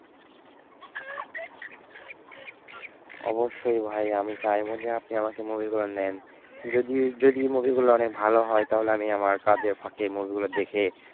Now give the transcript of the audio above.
অবশ্যই ভাই আমি চাইবো যে আপনি আমাকে movie গুলো দেন। যদিও যদি movie গুলো অনেক ভালো হয় তাহলে আমি আমার কাজের ফাঁকে movie গুলো দেখে,